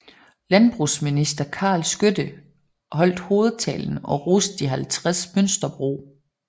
Landbrugsminister Karl Skytte holdt hovedtalen og roste de 50 mønsterbrug